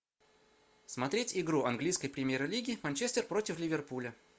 смотреть игру английской премьер лиги манчестер против ливерпуля